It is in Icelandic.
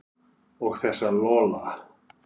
Og þessa Lola.